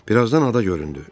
Bir azdan ada göründü.